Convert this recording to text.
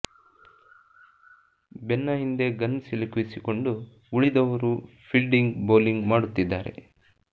ಬೆನ್ನ ಹಿಂದೆ ಗನ್ ಸಿಲುಕಿಸಿಕೊಂಡು ಉಳಿದವರು ಫಿಲ್ಡಿಂಗ್ ಬೌಲಿಂಗ್ ಮಾಡುತ್ತಿದ್ದಾರೆ